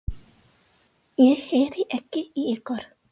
Ég heyri ekki í ykkur.